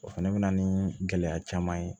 O fɛnɛ bɛ na ni gɛlɛya caman ye